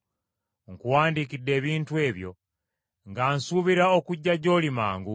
Nkuwandiikidde ebintu ebyo nga nsuubira okujja gy’oli mangu;